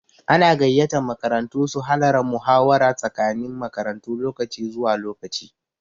Ana gayyatan makarantu su halara muhawara tsakanin makarantu lokaci zuwa lokaci.